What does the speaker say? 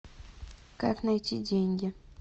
как найти деньги